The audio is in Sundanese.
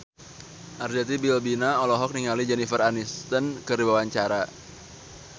Arzetti Bilbina olohok ningali Jennifer Aniston keur diwawancara